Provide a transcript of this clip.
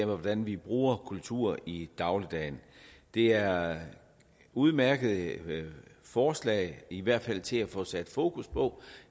hvordan vi bruger kultur i dagligdagen det er udmærkede forslag i hvert fald til at få sat fokus på